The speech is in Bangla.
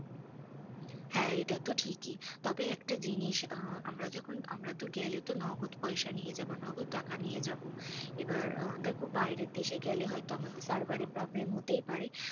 হ্যাঁ এটা তো ঠিকই, তবে একটা জিনিস, আমরা যখন, আমরা তো গেলে নগদ পয়সা নিয়েই যাবো, নগদ টাকা নিয়ে যাবো, এবার দেখো বাইরে দেশে গেলে হয় তো তার বাইরে problem হতেই পারে।